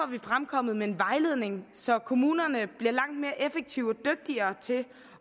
vi fremkommet med en vejledning så kommunerne bliver langt mere effektive og dygtigere til